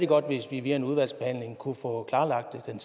godt hvis vi via en udvalgsbehandling kunne få klarlagt det den